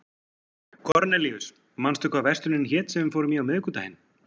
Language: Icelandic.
Kornelíus, manstu hvað verslunin hét sem við fórum í á miðvikudaginn?